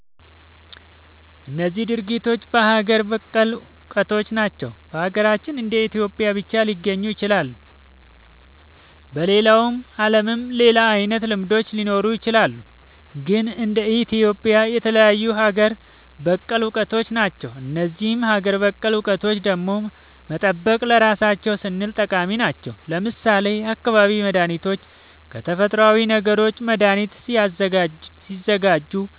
እነዚህ ድርጊቶች ሀገር በቀል እውቀቶች ናቸው። በሀገራችን እንደ ኢትዮጵያ ብቻ ሊገኙ የሚችሉ። በሌላው ዓለምም ሌላ አይነት ልምዶች ሊኖሩ ይችላሉ። ግን እንደ ኢትዮጵያ የተለዩ ሀገር በቀል እውቀቶች ናቸው። እነዚህን ሀገር በቀል እውቀቶች ደግሞ መጠበቅ ለራሳችን ስንል ጠቃሚ ናቸው። ለምሳሌ የአካባቢ መድኃኒቶችን ከተፈጥሮዊ ነገሮች መድኃኒት ሲያዘጋጁ